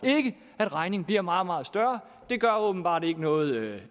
at regningen bliver meget meget større gør åbenbart ikke noget